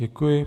Děkuji.